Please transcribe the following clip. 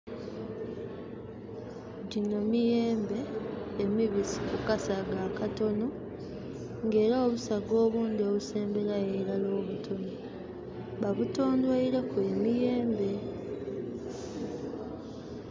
Gino miyembe emibisi ku kasaga akatono era nga obusaga obusemberayo irala obutono babutondoireku emiyembe